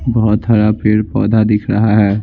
बहुत हरा पेड़ पौधा दिख रहा है।